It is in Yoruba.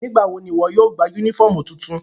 Nigbawo ni iwọ yóò gba unifọmú tuntun náa?